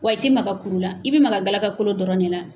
Wa i tɛ maka kuru la, i bɛ maka galakolo dɔrɔn ne na.